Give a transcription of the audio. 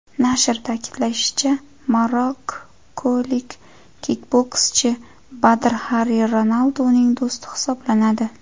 Nashr ta’kidlashicha, marokkolik kikbokschi Badr Xari Ronalduning do‘sti hisoblanadi.